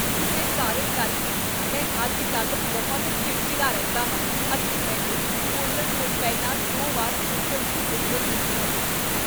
ਕਿਸੇ ਕਾਰਨ ਕਰਕੇ, ਮੈਂ ਅੱਜ ਕੱਲ੍ਹ ਬਹੁਤ ਚਿੜਚਿੜਾ ਰਹਿੰਦਾ ਹਾਂ ਅਤੇ ਮੈਨੂੰ ਬੋਲਣ ਤੋਂ ਪਹਿਲਾਂ ਦੋ ਵਾਰ ਸੋਚਣ ਦੀ ਜ਼ਰੂਰਤ ਹੁੰਦੀ ਹੈ